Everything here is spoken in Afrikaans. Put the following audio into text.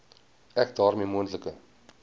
ek daarmee moontlike